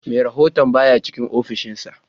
Merahon baya cikin offishin sa